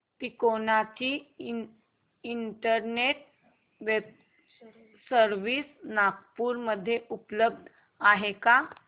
तिकोना ची internet service Nagpur मध्ये उपलब्ध आहे का